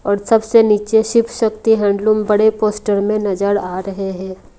और सबसे नीचे शिप शक्ति हैंडलूम बड़े पोस्टर में नजर आ रहे हैं।